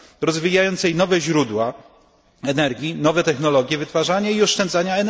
rozwijającej nowe źródła energii, nowe technologie jej wytwarzania i oszczędzania.